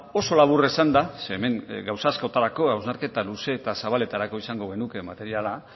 oso labur esanda ze hemen gauza askotarako hausnarketa luze eta zabaleterako izango genuke materiala